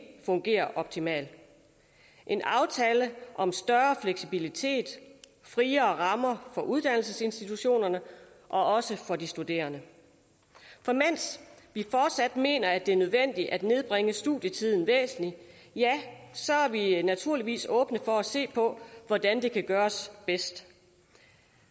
fungerer optimalt en aftale om større fleksibilitet friere rammer for uddannelsesinstitutionerne og også for de studerende for mens vi fortsat mener at det er nødvendigt at nedbringe studietiden væsentligt så er vi naturligvis åbne for at se på hvordan det kan gøres bedst